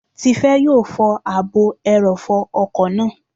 Tifẹ́ yóò fọ ààbò ẹrọ̀fọ̀ ọkọ̀ náà